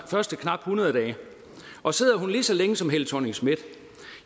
første knap hundrede dage og sidder hun lige så længe som helle thorning schmidt